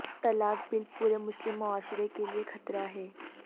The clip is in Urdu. طلاق بل پورے مسلم معاشرہ کے لئے خطرہ ہے